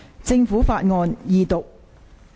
政府法案：二讀。